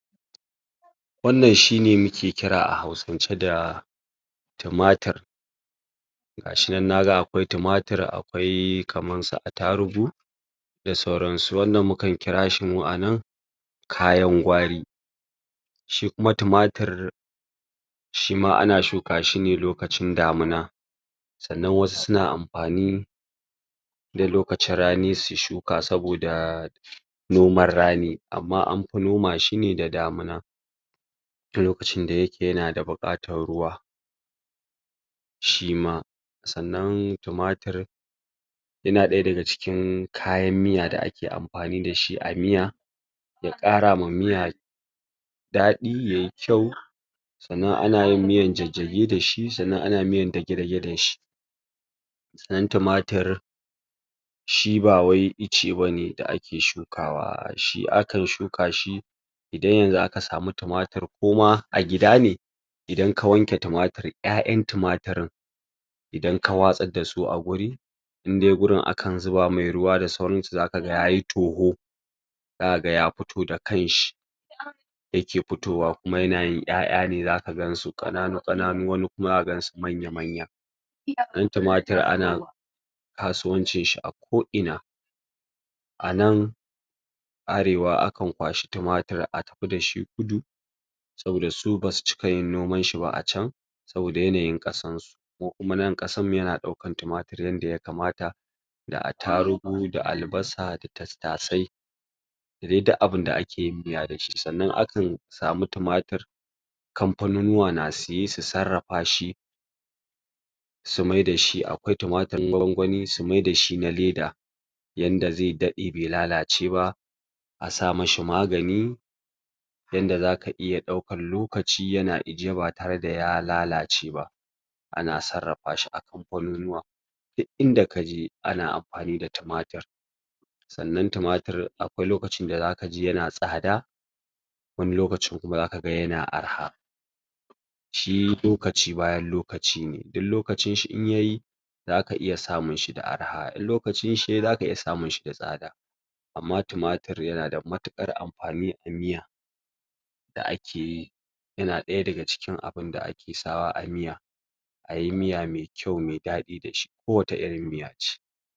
Wanna she mukekira a hausance da tomatar gashin nan naga akwai tumatur akwai kamar su atarugu da sauran su wanna mukan kirasu anan kayan gwari shikuma tumatur ana shuka shine lokacin damuna sanna wasu suna anfani da lokacin rani suyi shuka saboda numan rani amma anfi shukashi da damuna lokacin ye nada bukatar ruwa shima sanna tumatur yana daya daga cikin kayan miya da ake anfani dashi a miya yakarawa miya dadi yayi kyai sanna ana yin miyan jajjage dashi sanna anayin miyan dage dage dashi sanna tumatur shibawai icebane da ake shukawa a shikan shukashi indan yan zun akasamu tumatur kuma a gida ne indan ka wanke tumatur yayan tumaturin idan kawatsar dasu agurin indai gurin akan zubamishi ruwa da sauran su zakaga yayi togo zakaga yafotoh da kanshi um zayake fotohuwa kuma yana yin yaya za zakaga wasu kananu wasu manya dan tumatur ana kwasuwanci a koinan anan arewa akan kwashi tumatur atafi dashi kudu saboda su basu cika nomanshiba acan sobada yenayi kasan su mu kuma nan kasamu ye nadauke tumatur yende ye kamata da attarugu da albasa da tattasai dadi duk abinda ake miya dashi sanna akan yi samur tumatur componey noma na siyar su sarafashi tumaturin gwan gwami su maida shi na leda yanda zen dade be lalaceba a samishi magani yanda zaka iya daukan lokacin yena ijewabe har de ya lalacebaba ana sarrafa shi kanfanunuwa duk inda kaje ana amfani da tumatur sanna tumatur akwai lokacin dazakaji yana tsada wani lokacin kuma zakaga yana yarha shi lokaci bayan lokacine in lokacin shiyayi zaka iya samun shi da yar ha inlokacin shiyayi daka iya samunshi da tsada amma tumatur yanada matukar am fani amiya da akeyi yana daya daga cin abunda akesawa amiya ayi miya mekyau medadi dashi ko watar irin miya ce